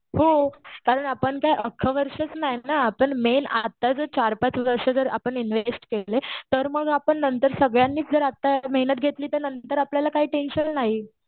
हो कारण जर आपण जर अख्ख वर्षच नाहीत ना. आपण जर मेन आता जर चार-पाच वर्ष इन्व्हेस्ट केले, तर मग आपण नंतर सगळ्यांनी जर आता मेहनत घेतली, तर नंतर आपल्याला काही टेंशन नाही.